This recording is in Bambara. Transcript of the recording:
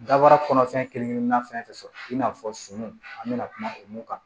Dabaara kɔnɔ fɛn kelen kelenna fɛn fɛn sɔrɔ i n'a fɔ sunu an be na kuma o mun kan